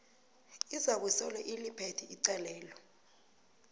izakusolo iliphethe icalelo